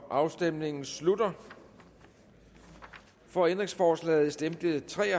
afstemningen slutter for ændringsforslaget stemte tre